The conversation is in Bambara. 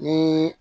Ni